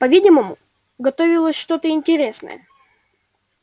по видимому готовилось что то интересное